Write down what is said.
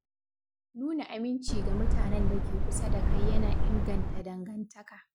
Nuna aminci ga mutanen da ke kusa da kai yana inganta dangantaka.